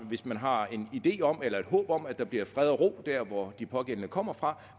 hvis man har en idé om eller et håb om at der bliver fred og ro der hvor de pågældende kommer fra